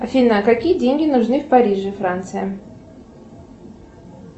афина какие деньги нужны в париже франция